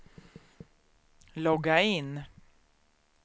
logga in